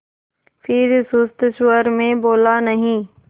फिर सुस्त स्वर में बोला नहीं